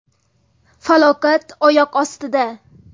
Falokat oyoq ostida.